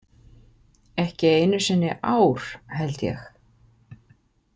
Ekki einu sinni ár, held ég.